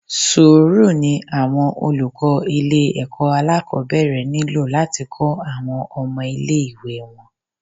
Sùúrù ni àwọn olùkọ́ ilé ẹ̀kọ́ alákòbẹ̀rẹ̀ nílò láti kọ́ àwọn ọmọ ilé ìwé wọn.